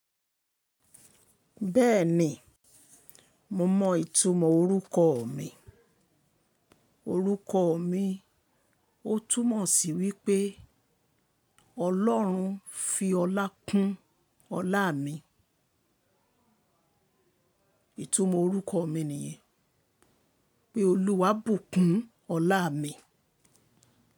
Bẹ́ẹ̀ni, mo mọ ìtumọ̀ orúkọ mi. Orúkọ mi ó túmọ̀ sí wípé Ọlọ́run fi ọlá kún ọlá mi. Ìtumọ̀ orúkọ mi nìyẹn, pé Olúwa bù kún ọlá mi.